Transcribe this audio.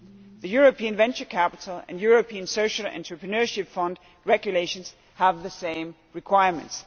The European venture capital and European Social Entrepreneurship Fund regulations have the same requirements